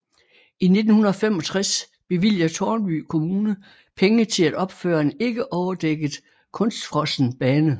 I 1965 bevilger Tårnby Kommune penge til at opføre en ikke overdækket kunstfrossen bane